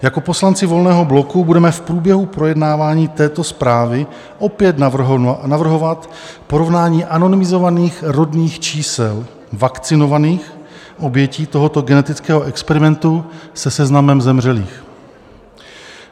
Jako poslanci Volného bloku budeme v průběhu projednávání této zprávy opět navrhovat porovnání anonymizovaných rodných čísel vakcinovaných obětí tohoto genetického experimentu se seznamem zemřelých.